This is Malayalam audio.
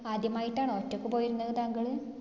ആദ്യമായിട്ടാണോ ഒറ്റക്ക് പോയിരുന്നത് താങ്കൾ?